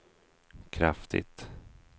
kraftigt